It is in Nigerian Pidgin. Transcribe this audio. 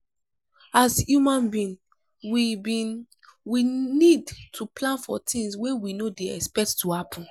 as human being we being we need to plan for things wey we no dey expect to happen